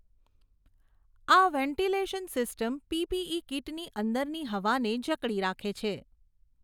આ ventilation system PPE કીટની અંદરની હવાને જકડી રાખે છે.